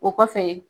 O kɔfɛ